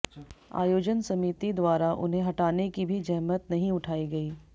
आयोजन समिति द्वारा उन्हें हटाने की भी जहमत नहीं उठाई गई